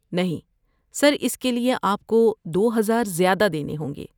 نہیں، سر اس کے لیے آپ کو دو ہزار زیادہ دینے ہوں گے